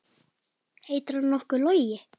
Heitir hann nokkuð Logi?